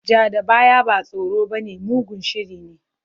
Ja da baya ba tsoro bane, mugun shiri ne.